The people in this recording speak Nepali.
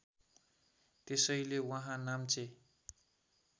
त्यसैले उहाँ नाम्चे